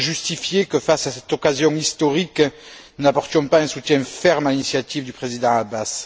Comment justifier que, face à cette occasion historique, nous n'apportions pas un soutien ferme à l'initiative du Président Abbas?